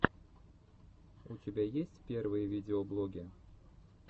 у тебя есть первые видеоблоги